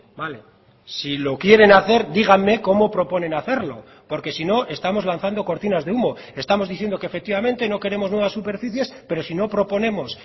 vale si lo quieren hacer díganme cómo proponen hacerlo porque si no estamos lanzando cortinas de humo estamos diciendo que efectivamente no queremos nuevas superficies pero si no proponemos